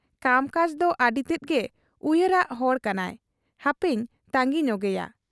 ᱠᱟᱢᱠᱟᱡᱽ ᱫᱚ ᱟᱹᱰᱤᱛᱮᱫ ᱜᱮ ᱩᱭᱦᱟᱹᱨᱟᱜ ᱦᱚᱲ ᱠᱟᱱᱟᱭ ᱾ ᱦᱟᱯᱮᱧ ᱛᱟᱺᱜᱤ ᱧᱚᱜᱮᱭᱟ ᱾